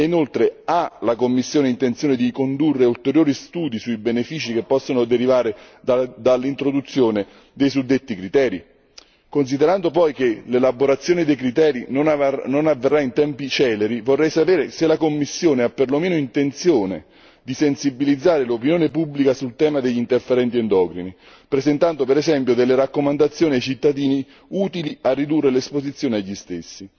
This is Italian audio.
E inoltre, la Commissione ha intenzione di condurre ulteriori studi sui benefici che possono derivare dall'introduzione dei suddetti criteri? Considerando poi che l'elaborazione dei criteri non avverrà in tempi celeri, vorrei sapere se la Commissione ha per lo meno intenzione di sensibilizzare l'opinione pubblica sul tema degli interferenti endocrini, presentando per esempio delle raccomandazioni ai cittadini utili a ridurre l'esposizione agli stessi.